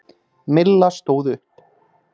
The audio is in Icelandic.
Milla stóð upp.